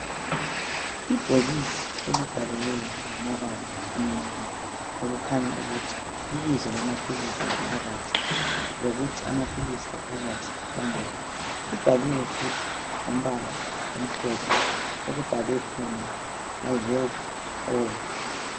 Ibhokisi elibhaliweyo ngamabala amnyama. Okukhanya ukuthi libizo lamaphilisi aphakathi. Lokuthi amaphilisi aphakathi mangaki. Libhaliwe futhi ngombala omhlophe. okubhalwe khona, My help All.